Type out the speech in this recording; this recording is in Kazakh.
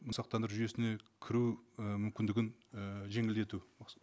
сақтандыру жүйесіне кіру і мүмкіндігін і жеңілдету осы